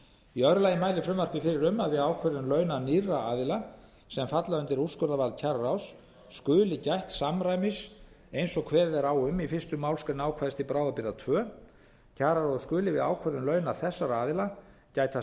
í öðru lagi mælir frumvarpið fyrir um að við ákvörðun launa nýrra aðila sem falla undir úrskurðarvald kjararáðs skuli gætt samræmis eins og kveðið er á um í fyrstu málsgrein ákvæðis til bráðabirgða annars kjararáð skuli við ákvörðun launa þessara aðila gæta